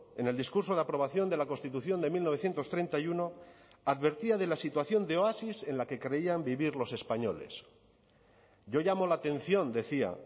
en el discurso de aprobación de la constitución de mil novecientos treinta y uno advertía de la situación de oasis en la que creían vivir los españoles yo llamo la atención decía